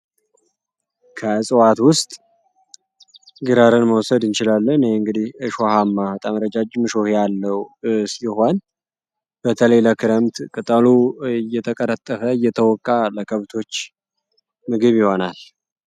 ከእጽዋት ውስጥ ግራርን መወሰድ እንችላለን። እንግዲ እሸ ሃማ በጠም ረጃጅ ምሾሄ ያለው ስ ይሆን በተሌለ ክረምት ቅጣሉ እየተቀረጠፈ እየተወቃ ለከብቶች ምግብ ይሆናል።